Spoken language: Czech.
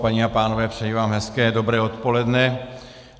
Paní a pánové, přeji vám hezké dobré odpoledne.